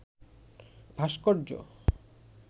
ভাস্কর্য